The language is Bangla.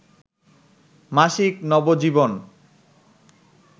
মাসিক নবজীবন